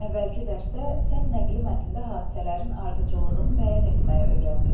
Əvvəlki dərsdə sən nəqli mətndə hadisələrin ardıcıllığını müəyyən etməyi öyrəndin.